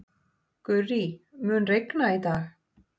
Gurrí, mun rigna í dag?